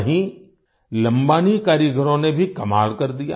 वहीं लंबानी कारीगरों ने भी कमाल कर दिया